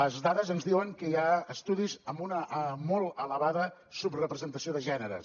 les dades ens diuen que hi ha estudis amb una molt elevada subrepresentació de gèneres